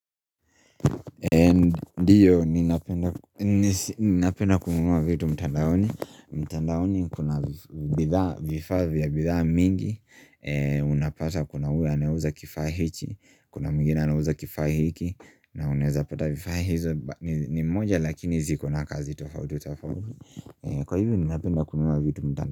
Ndiyo ninapenda ninapenda kununua vitu mtandaoni mtandaoni kuna bidhaa vifaa vya viraa mingi Unapata kuna ule anayeuza kifaa hichi Kuna mwingine anauza kifaa hiki na unaeza pata vifaa hizo ni moja lakini ziko na kazi tofauti tafauti Kwa hivyo ninapenda kununua vitu mtanda.